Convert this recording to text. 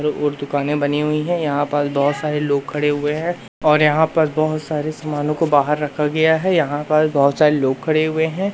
और दुकानें बनी हुई हैं यहां पास बहोत सारे लोग खड़े हुए हैं और यहां पास बहोत सारे सामनों को बाहर रखा गया है यहां पास बहोत सारे लोग खड़े हुए हैं।